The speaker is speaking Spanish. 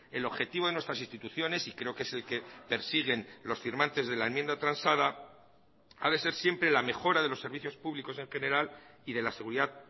el objetivo de nuestras instituciones y creo que es el que persiguen los firmantes de la enmienda transada ha de ser siempre la mejora de los servicios públicos en general y de la seguridad